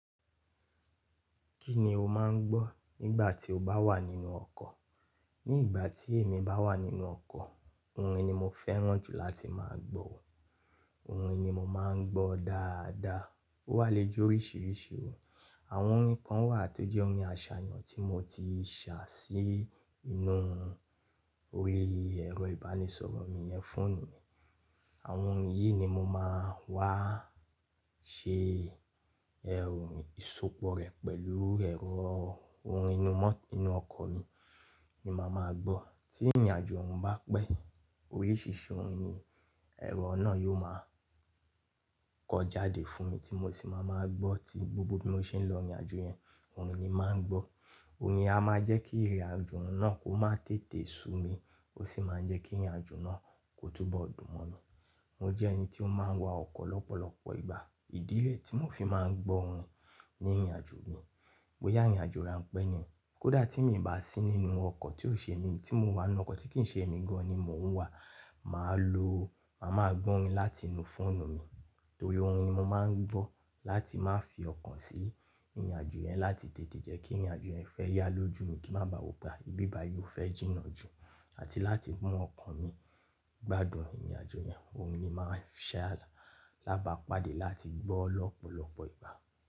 Kí ni o máa ń gbọ́ nígbà tí o bá wà nínú ọkọ̀? Ní ìgbà tí èmi bá wà nínú ọkọ̀, orin ni mo fẹ́ràn jù láti máa gbọ́, orin ni mo máa ń gbọ́ dáadáa. Ó wà léjò oríṣìíríṣìí o. Àwọn orin kan wà tó jẹ́ orin àṣàyàn tí mo ti ṣà sí inú orí ẹ̀rọ ìbánisọ̀rọ̀ mi ìyẹn fọ́ọ̀nù mi. Àwọn orin yìí ni mo máa wá ṣe ẹ orin ìsopọ̀ rẹ̀ pẹ̀lú ẹ̀rọ orin inú mọ́, inú ọkọ̀ mi ni màá máa gbọ́. Tí ìrìnàjò ọ̀ún bá pẹ́, oríṣìíríṣìí orin ni ẹ̀rọ náà yóò máa kọ jáde fún mi tí mo sì máa máa gbọ́ tí gbogbo bí mo ṣe ń lọ ìrìnàjò yẹn, orin ni màá ń gbọ́. Orin a máa jẹ́ kí ìrìnàjò náà kó máa tètè sú mi, ó sì máa jẹ́ kí ìrìnàjò náà kó túbọ̀ dùn mọ́ lọ. Mo jẹ́ ẹni tí ó máa ń wa ọkọ̀ lọ́pọ̀lọpọ̀ ìgbà. Ìdí rẹ̀ tí mò fi máa ń gbọ́ orin ní ìrìnàjò mi. Bóyá ìrìnàjò ran pẹ́ ni, kó dà tí mi ò bá sí nínú ọkọ̀ tí ó ṣe mi tí mo wà nínú ọkọ̀ tí kì í ṣe èmi gan ní mo ń wà, màá lo, màá máa gbọ́ orin láti inú fọ́ọ̀nù mi. Torí orin ni mo máa ń gbọ́ láti má fi ọkàn sí ìrìn àjò yẹn láti tètè jẹ́ kí ìrìn àjò yẹn fẹ́ yá lójú mi kín bá wópé ibi báyìí fẹ́ jìnà jù àti láti mú ọkàn mi gbádùn ìrìn àjò orin ni mo ṣe alábàpàdé láti gbọ́ lọ́pọ̀lọpọ̀ ìgbà.